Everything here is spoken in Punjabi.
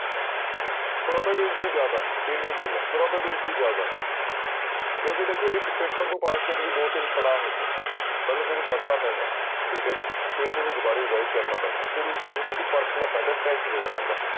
Probability ਜ਼ਿਆਦਾ ਹੈ ਇੰਨੀ ਗੱਲ ਹੈ probability ਜ਼ਿਆਦਾ ਹੈ ਕਿਉਂਕਿ ਦੇਖੋ ਇੱਕ ਪੇਪਰ ਨੂੰ ਪਾਸ ਕਰਨ ਲਈ ਦੋ ਤਿੰਨ ਪੜ੍ਹਾਅ ਹੁੰਦੇ ਨੇ, ਪਹਿਲਾਂ ਤੁਹਾਨੂੰ ਪੜ੍ਹਨਾ ਪੈਂਦਾ ਠੀਕ ਹੈ ਜੀ, ਫਿਰ ਉਹਨੂੰ ਦੁਬਾਰੇ revise ਕਰਨਾ ਪੈਂਦਾ, ਫਿਰ ਉਸ ਚੀਜ਼ ਨੂੰ ਤੁਸੀਂ ਪਰਖਣਾ ਪੈਂਦਾ test ਦੇਣਾ ਪੈਂਦਾ।